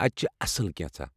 اَتہِ چھِ اصلی کینٛژھا ۔